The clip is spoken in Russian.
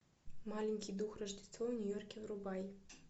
маленький дух рождество в нью йорке врубай